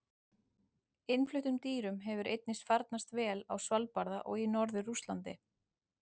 Innfluttum dýrum hefur einnig farnast vel á Svalbarða og í norður Rússlandi.